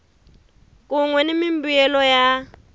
kun we ni mimbuyelo ya